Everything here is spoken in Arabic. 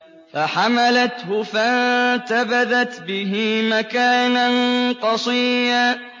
۞ فَحَمَلَتْهُ فَانتَبَذَتْ بِهِ مَكَانًا قَصِيًّا